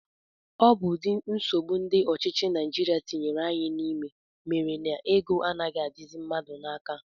Ọ bụ ụdị nsogbu ndị ọchịchị Naijiria tinyere anyị n'ime mere na ego anaghị adịzi mmadụ n'aka